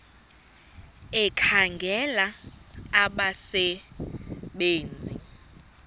ekhangela abasebe nzi